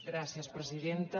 gràcies presidenta